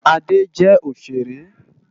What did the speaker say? Ade jè óṣéré